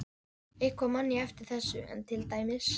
Eitthvað man ég af þessu enn, til dæmis